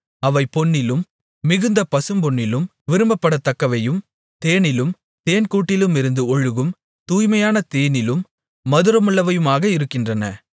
அவை பொன்னிலும் மிகுந்த பசும்பொன்னிலும் விரும்பப்படத்தக்கவையும் தேனிலும் தேன்கூட்டிலிருந்து ஒழுகும் தூய்மையான தேனிலும் மதுரமுள்ளவையுமாக இருக்கின்றன